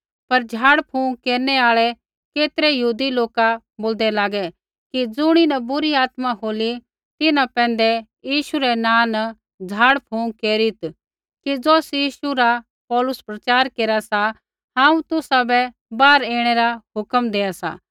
पर झाड़फूँक केरनु आल़ै केतरै यहूदी लोका बोलदै लागै कि ज़ुणीन बुरी आत्मा होली तिन्हां पैंधै यीशु रै नाँ न झाड़फूँक केरीत् कि ज़ौस यीशु रा पौलुस प्रचार केरा सा हांऊँ तुसाबै बाहर ऐणै रा हुक्म देआ सा